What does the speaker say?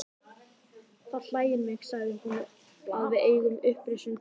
Það hlægir mig, sagði hún,-að við eigum upprisuna til góða.